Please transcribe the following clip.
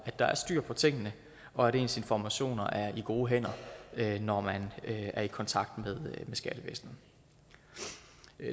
at der er styr på tingene og at ens informationer er i gode hænder når man er i kontakt med skattevæsenet